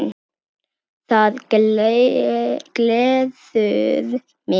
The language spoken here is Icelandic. Það gleður mig.